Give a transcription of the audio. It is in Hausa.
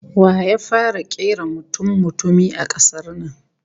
Wa ya fara kera mutummutumi a kasar nan?